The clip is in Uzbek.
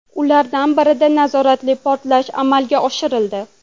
Ulardan birida nazoratli portlash amalga oshirildi.